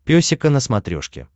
песика на смотрешке